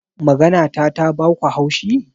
Maganata ta baku haushi?